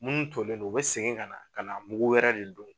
Minnu tolen don u bɛ segin ka na, ka na mugu wɛrɛ de don